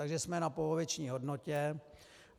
Takže jsme na poloviční hodnotě.